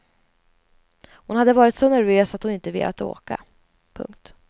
Hon hade varit så nervös att hon inte velat åka. punkt